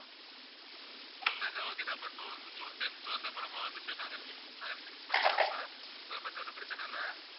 sir sir okay sir அப்போ June jun~tenth வந்து அப்போ நம்ப வந்துட்டு நான்~ நாங்க fix பண்ணிடுறோம் sir அதை பத்தி ஒண்ணும் பிரச்சனை இல்ல